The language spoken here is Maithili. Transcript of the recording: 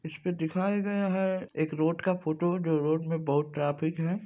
इसमे दिखाया गया है एक रोड का फोटो जो रोड मे बहुत ट्राफिक है।